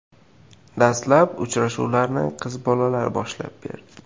Dastlab uchrashuvlarni qiz bolalar boshlab berdi.